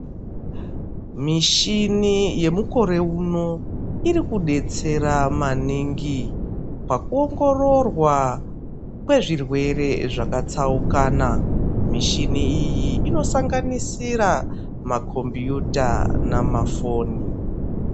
Mishini yemukore uno irikudetsera maningi pakuongororwa kwezvirwere zvakatsaukana mishini iyi inosanganisira makombiyuta namafoni